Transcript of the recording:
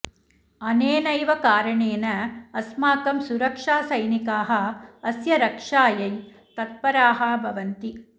अनेनैव कारणेन अस्माकं सुरक्षासैनिकाः अस्य रक्षायै तत्पराः भवन्ति